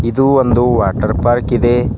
ಇದು ಒಂದು water park ಇದೆ.